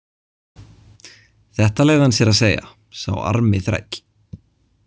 Þetta leyfði hann sér að segja, sá armi þræll.